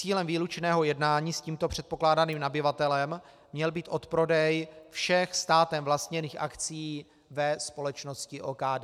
Cílem výlučného jednání s tímto předpokládaným nabyvatelem měl být odprodej všech státem vlastněných akcií ve společnosti OKD.